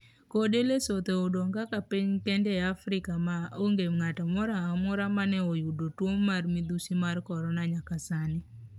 kode Lesotho odong' kaka piny kende e Afrika ma onge ng'ato moro amora mane oyudo tuwo mar midhusi mar korona nyaka sani.